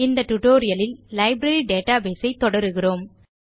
இந்த tutorialலில் நாம் லைப்ரரி டேட்டாபேஸ் ஐ தொடருகிறோம்